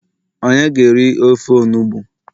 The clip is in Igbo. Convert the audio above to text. onye ga eri ofe onugbu?